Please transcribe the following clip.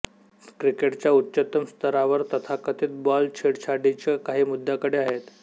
क्रिकेटच्या उच्चतम स्तरावर तथाकथित बॉल छेडछाडीच्या काही मुद्याकडे आहेत